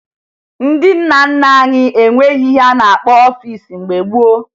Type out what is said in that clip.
Ndị nna nna anyị enweghi ihe a na-akpọ ọfiisi mgbe gboo